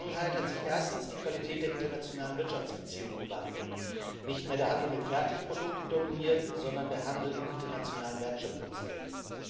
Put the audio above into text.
In der Vergangenheit hat sich erstens die Qualität der internationalen Wirtschaftsbeziehungen gewandelt Nicht mehr der Handel mit Fertigprodukten dominiert, sondern der Handel in internationalen Wertschöpfungsketten.